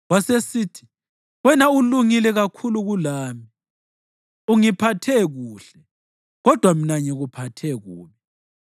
Wasesithi, “Wena ulungile kakhulu kulami. Ungiphathe kuhle, kodwa mina ngikuphathe kubi.